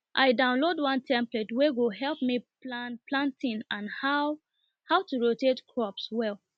i download one template wey go help me plan planting and how how to rotate crops well